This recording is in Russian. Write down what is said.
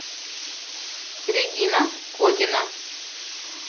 регина котина